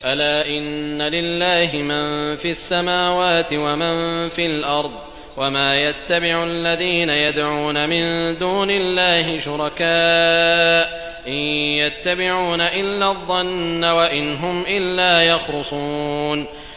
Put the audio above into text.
أَلَا إِنَّ لِلَّهِ مَن فِي السَّمَاوَاتِ وَمَن فِي الْأَرْضِ ۗ وَمَا يَتَّبِعُ الَّذِينَ يَدْعُونَ مِن دُونِ اللَّهِ شُرَكَاءَ ۚ إِن يَتَّبِعُونَ إِلَّا الظَّنَّ وَإِنْ هُمْ إِلَّا يَخْرُصُونَ